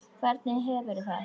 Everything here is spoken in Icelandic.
Hvernig hefurðu það?